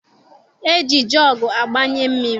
E ji jọọgu agbanye mmiri.